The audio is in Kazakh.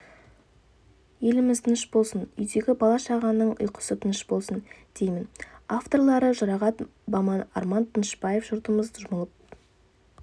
еліміз тыныш болсын үйдегі бала-шағаның ұйқысы тыныш болсын деймін авторлары жұрағат баман арман данышпаев жұртымыз жұмылып